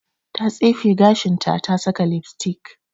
Ta tsefe gashinta ta saka lipstick.